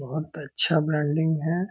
बहुत अच्छा ब्रांडिंग है।